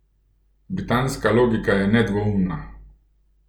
Britanska logika je nedvoumna.